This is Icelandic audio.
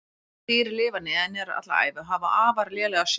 Þessi dýr lifa neðanjarðar alla ævi og hafa afar lélega sjón.